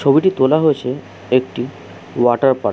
ছবিটি তোলা হয়েছে একটি ওয়াটার পার --